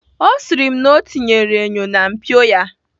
Ọ sịrị m na ọ tinyere enyo na mpio ya.